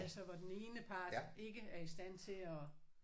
Altså hvor den ene part ikke er i stand til at